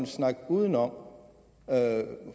snakke uden om